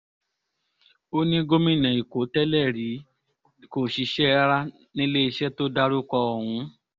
ó ní gómìnà èkó tẹ́lẹ̀rí kò ṣiṣẹ́ rárá níléeṣẹ́ tó dárúkọ ọ̀hún